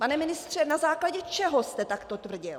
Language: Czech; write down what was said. Pane ministře, na základě čeho jste takto tvrdil?